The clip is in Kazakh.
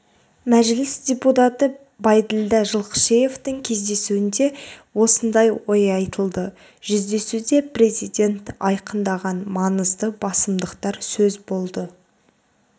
мәжіліс депутаты байділдә жылқышиевтің кездесуінде осындай ой айтылды жүздесуде президент айқындаған маңызды басымдықтар сөз болды